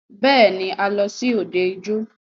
Bẹ́ẹ̀ni,a lọ sí òde ijó.